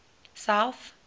south